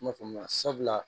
N m'a faamuya sabula